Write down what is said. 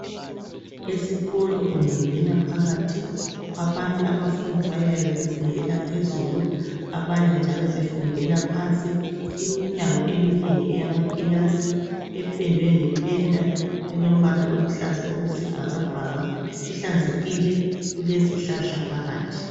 Esikolo ungangena phakathi abanye abafundi bayabe befundela phezulu abanye njalo befundela phansi. Iminyango eminengi eyamakilasi ependwe ngependa elombala oluhlaza okwesibhakabhaka uhlanzekile uezihlahla phakathi.